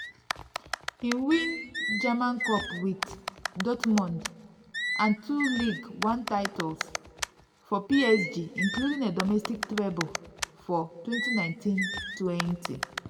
im win german cup wit dortmund and two ligue 1 titles for psg including a domestic treble for2019-20.